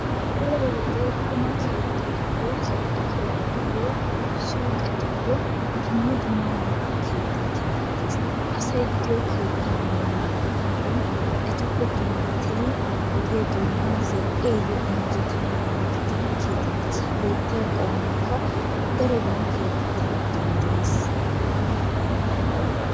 Daroo wode qumma kettatuyo zal'e keettatuyo suqetuyo dumma dumma meraa kettay kexettees, asay de'iyo keettaa malaa gidenani etuppe dummatidi ogiyaa donanni zal'iyayo injjetanadan gididi kexxettees, he kettaa qomoykka darobban kexettanawu danddayees.